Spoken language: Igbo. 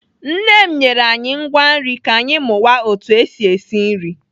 Nne m nyere anyị ngwa nri ka anyị mụwa otu esi esi nri.